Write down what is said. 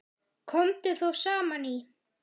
Komu þá saman í